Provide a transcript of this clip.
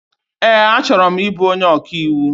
Ee, achọrọ m ịbụ onyé ọkaiwu